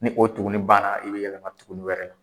Ni o tugunnin banna i bɛ yɛlɛma tugunnin wɛrɛ la